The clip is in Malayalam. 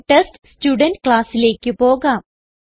ടെസ്റ്റ്സ്റ്റുഡെന്റ് classലേക്ക് പോകാം